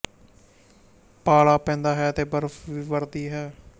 ਪਾਲਾ ਪੈਂਦਾ ਹੈ ਅਤੇ ਬਰਫ਼ ਵੀ ਵਰ੍ਹਦੀ ਹੈ